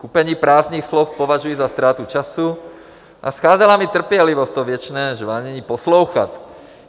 Kupení prázdných slov považuji za ztrátu času a scházela mi trpělivost to věčné žvanění poslouchat.